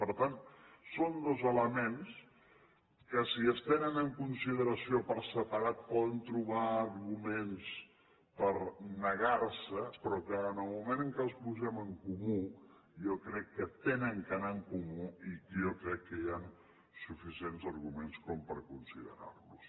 per tant són dos elements que si es tenen en consideració per separat poden trobar arguments per negar se però que en el moment en què els posem en comú jo crec que han d’anar en comú i jo crec que hi han suficients arguments com per considerar los